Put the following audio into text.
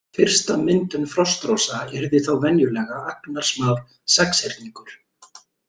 Fyrsta myndun frostrósa yrði þá venjulega agnarsmár sexhyrningur.